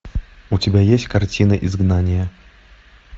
у тебя есть картина изгнание